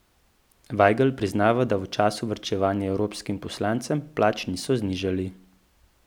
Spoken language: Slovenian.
Vajgl priznava, da v času varčevanja evropskim poslancem plač niso nižali.